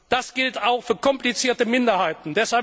Das gilt auch für komplizierte Minderheiten.